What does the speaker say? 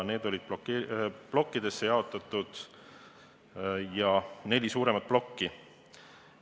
Need olid plokkidesse jaotatud, oli neli suuremat plokki.